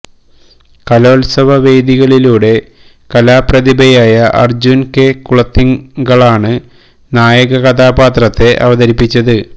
കലോത്സവ വേദികളിലൂടെ കലാ പ്രതിഭയായ അർജുൻ കെ കുളത്തിങ്കളാണ് നായക കഥാപാത്രത്തെ അവതരിപ്പിച്ചത്